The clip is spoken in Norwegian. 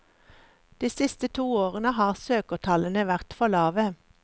De siste to årene har søkertallene vært for lave.